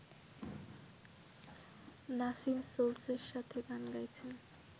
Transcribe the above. নাসিম সোলসয়ের সাথে গান গাইছেন